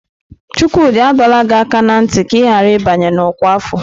Chukwudi adọla gị aka na ntị ka ị ghara ịbanye n'ọkwa afọ!